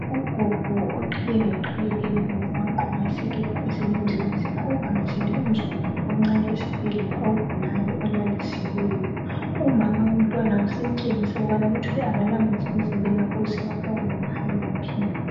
Ugogo oqhiye ngeqhiye ebomvu wagqoka iskhipha esilemzilazila uvakatshele umzukulu wakhe omncane esibhedlela ogulayo olalisiweyo. Umama womntwana usemtshengisa ukubana kuthwe akalamanzi emzimbeni wakhe osewafakwa nge pipe